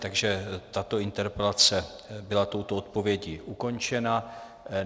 Takže tato interpelace byla touto odpovědí ukončena.